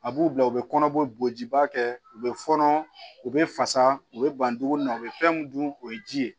A b'u bila u bɛ kɔnɔbɔjiba kɛ u bɛ fɔɔnɔ u bɛ fasa u bɛ ban dumuni na u bɛ fɛn mun dun o ye ji ye